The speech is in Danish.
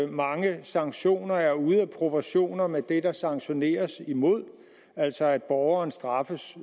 mange sanktioner er ude af proportioner med det der sanktioneres imod altså at borgeren straffes